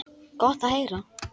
Gott að heyra.